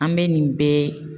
An bɛ nin bɛɛ.